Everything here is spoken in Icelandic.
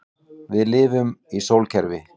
Við lifum í sólkerfi.